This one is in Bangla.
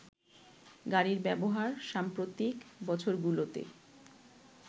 গাড়ির ব্যবহার সাম্প্রতিক বছরগুলোতে